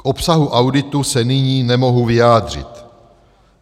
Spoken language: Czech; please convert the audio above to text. K obsahu auditu se nyní nemohu vyjádřit.